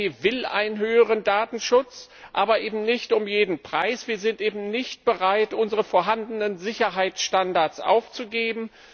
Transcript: Die EVP will einen umfassenderen Datenschutz, aber eben nicht um jeden Preis. Wir sind nicht bereit, unsere vorhandenen Sicherheitsstandards aufzugeben.